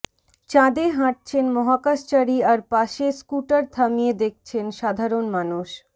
চাঁদে হাঁটছেন মহাকাশচারী আর পাশে স্কুটার থামিয়ে দেখছেন সাধারণ মানুষ